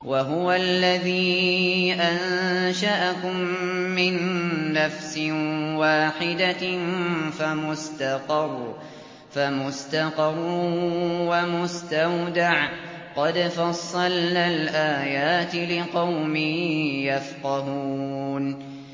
وَهُوَ الَّذِي أَنشَأَكُم مِّن نَّفْسٍ وَاحِدَةٍ فَمُسْتَقَرٌّ وَمُسْتَوْدَعٌ ۗ قَدْ فَصَّلْنَا الْآيَاتِ لِقَوْمٍ يَفْقَهُونَ